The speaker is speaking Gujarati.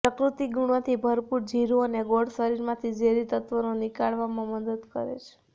પ્રકૃતિ ગુણોથી ભરપૂર જીરુ અને ગોળ શરીરમાંથી ઝેરી તત્ત્વોને નિકાળવામાં મદદ કરે છે